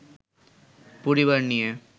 পরিবার নিয়ে